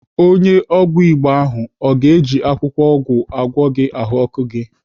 Onye ọgwụ Igbo ahụ ọ ga-eji akwụkwọ ọgwụ agwọ gị ahụọkụ gị?